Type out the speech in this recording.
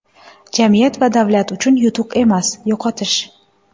Jamiyat va davlat uchun yutuq emas, yo‘qotish.